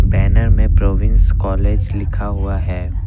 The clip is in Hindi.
बैनर में प्रोविंस कॉलेज लिखा हुआ है।